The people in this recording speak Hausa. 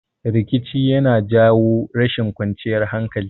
Rikici yana jawo rashin kwanciyar hankali